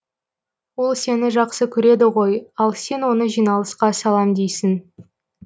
ол сені жақсы көреді ғой ал сен оны жиналысқа салам дейсің